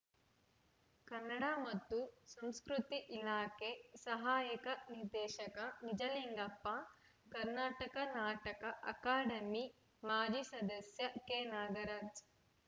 ಕನ್ನಡ ಮತ್ತು ಸಂಸ್ಕೃತಿ ಇಲಾಖೆ ಸಹಾಯಕ ನಿರ್ದೇಶಕ ನಿಜಲಿಂಗಪ್ಪ ಕರ್ನಾಟಕ ನಾಟಕ ಅಕಾಡೆಮಿ ಮಾಜಿ ಸದಸ್ಯ ಕೆನಾಗರಾಜ್‌